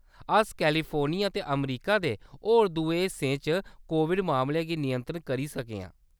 अस कैलिफोर्निया ते अमेरिका दे होर दुए हिस्सें च कोविड मामलें गी नियंत्रत करी सके आं।